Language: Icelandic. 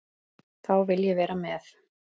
Þá vil ég vera með.